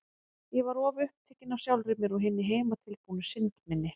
Ég var of upptekin af sjálfri mér og hinni heimatilbúnu synd minni.